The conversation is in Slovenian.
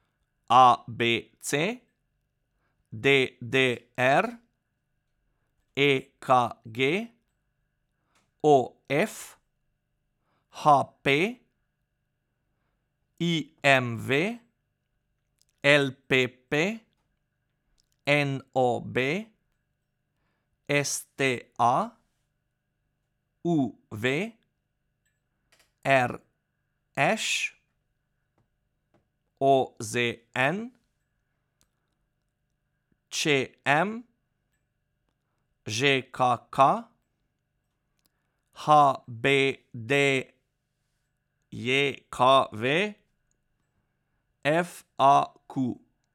A B C; D D R; E K G; O F; H P; I M V; L P P; N O B; S T A; U V; R Š; O Z N; Č M; Ž K K; H B D J K V; F A Q.